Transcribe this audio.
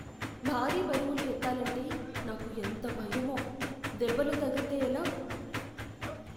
భారీ బరువులు ఎత్తాలంటే నాకు ఎంత భయమో. దెబ్బలు తగిల్తే ఎలా?